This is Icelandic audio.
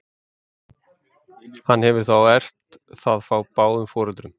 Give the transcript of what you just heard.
hann hefur þá erft það frá báðum foreldrum